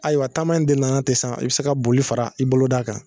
Ayiwa taama in de nana ten san i bɛ se ka boli fara i boloda kan